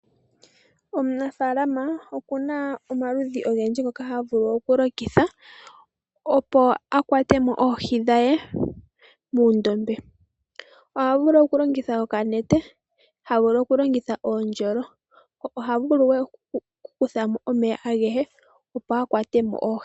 Omunafalama okuna omikalo odhindji ngoka ha vulu okulongitha opo a kwatemo oohi dhe mondombe. Oha vulu okulongitha okanete, ha vulu okulongitha oondjolo oha vulu noku kuthamo omeya agehe opo a kwatemo oohi.